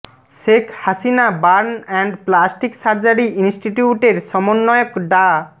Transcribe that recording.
Sheikh Hasina burn and plastic surgery ইন্সটিটিউটের সমন্বয়ক ডা